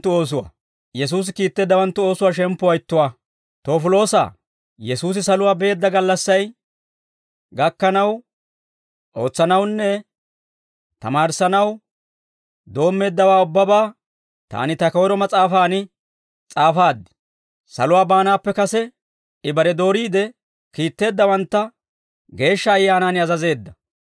Toofiloosaa, Yesuusi saluwaa beedda gallassay gakkanaw, ootsanawunne tamaarissanaw doommeeddawaa ubbabaa taani ta koyro mas'aafaan s'aafaad. Saluwaa baanaappe kase I bare dooriide kiitteeddawantta Geeshsha Ayyaanaan azazeedda.